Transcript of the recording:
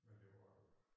Men det var